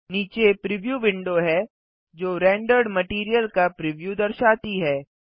नीचे preview window है जो रेंडर्ड मटैरियल का प्रिव्यू दर्शाती है